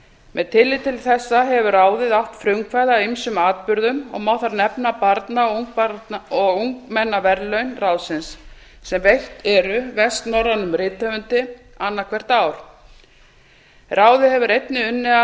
með tilliti til þessa hefur ráðið átt frumkvæði að ýmsum atburðum og má þar nefna barna og ungmennaverðlaun ráðsins sem veitt eru vestnorrænum rithöfundi annað hvert ár ráðið hefur einnig unnið að